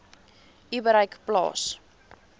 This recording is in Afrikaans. u bereik plaas